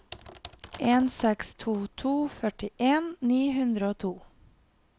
en seks to to førtien ni hundre og to